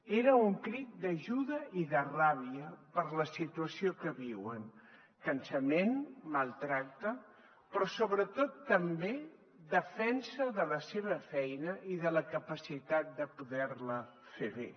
era un crit d’ajuda i de ràbia per la situació que viuen cansament maltractament però sobretot també defensa de la seva feina i de la capacitat de poder la fer bé